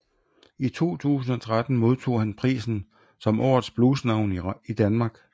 I 2013 modtog han prisen som Årets Blues Navn i Danmark